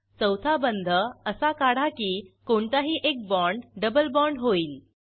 चौथा बंध असा काढा की कोणताही एक बाँड डबल बाँड होईल